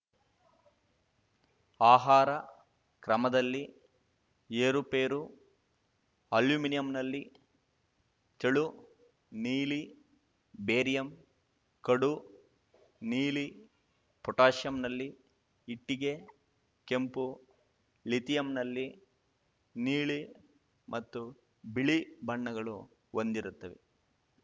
ಆಹಾರ ಕ್ರಮದಲ್ಲಿ ಏರುಪೇರು ಅಲ್ಯೂಮಿನಿಯಂನಲ್ಲಿ ತೆಳು ನೀಲಿ ಬೇರಿಯಂ ಕಡು ನೀಲಿ ಪೊಟ್ಯಾಸಿಯಂನಲ್ಲಿ ಇಟ್ಟಿಗೆ ಕೆಂಪು ಲಿಥಿಯಂನಲ್ಲಿ ನೀಲಿ ಮತ್ತು ಬಿಳಿ ಬಣ್ಣಗಳು ಹೊಂದಿರುತ್ತವೆ